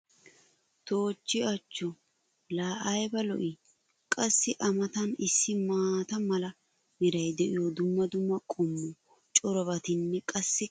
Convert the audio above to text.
toochchi achcho! laa ayba lo'ii? qassi a matan issi maata mala meray diyo dumma dumma qommo corabatinne qassikka hara darobatti doosona